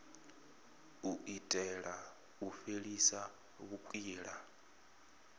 u itela u fhelisa vhukwila